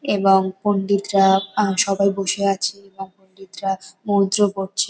এবং পন্ডিতরা আ সবাই বসে আছে এবং পন্ডিতরা মন্ত্র পড়ছে।